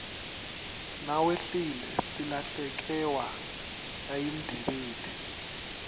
nawehlile silahlekewa nayimdebeti